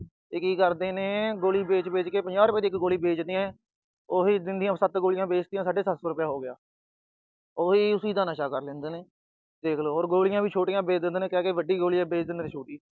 ਫਿਰ ਕੀ ਕਰਦੇ ਨੇ ਗੋਲੀ ਵੇਚ-ਵੇਚ ਕੇ। ਪੰਜਾਹ ਰੁਪਏ ਦੀ ਇੱਕ ਗੋਲੀ ਵੇਚਦੇ ਆ। ਉਹ ਦਿਨ ਦੀਆਂ ਸੱਤ ਗੋਲੀਆਂ ਵੇਚਤੀਆਂ, ਸਾਢੇ ਸੱਤ ਸੌ ਰੁਪਇਆ ਹੋ ਗਿਆ। ਉਹੀ ਉਸਦਾ ਨਸ਼ਾ ਕਰ ਲੈਂਦੇ ਨੇ। ਦੇਖ ਲੋ। ਗੋਲੀਆਂ ਵੀ ਛੋਟੀਆਂ ਵੇਚ ਦਿੰਦੇ ਨੇ, ਕਹਿ ਕੇ ਵੱਡੀ, ਵੇਚ ਦਿੰਦੇ ਨੇ ਛੋਟੀ।